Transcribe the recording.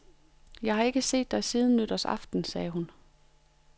Jeg har ikke set dig siden nytårsaften, sagde hun.